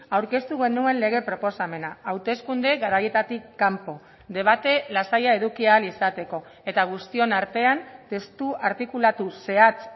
aurkeztu genuen lege proposamena hauteskunde garaietatik kanpo debate lasaia eduki ahal izateko eta guztion artean testu artikulatu zehatz